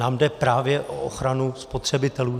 Nám jde právě o ochranu spotřebitelů.